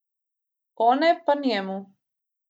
One pa njemu.